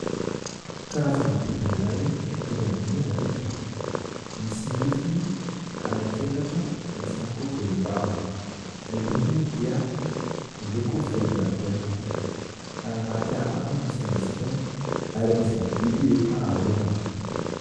Karazana biby iray mitovy amin'ny alika, misy nifiny anankiefatra, misy ihany koa volombava, ny lokony dia miloko volondavenona. Any anaty ala any no misy an'izy itony ary anisan'ny biby efa arovana.